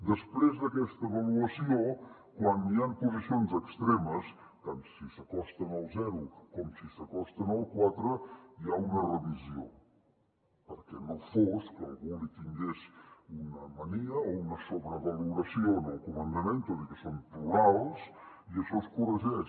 després d’aquesta avaluació quan hi han posicions extremes tant si s’acosten al zero com si s’acosten al quatre hi ha una revisió perquè no fos que algú li tingués una mania o una sobrevaloració al comandament tot i que són plurals i això es corregeix